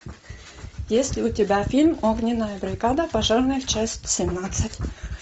есть ли у тебя фильм огненная бригада пожарная часть семнадцать